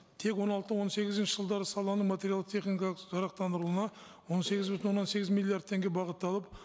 тек он алты он сегізінші жылдары саланы материалды техникалық жарақтандыруына он сегіз бүтін оннан сегіз миллиард теңге бағытталып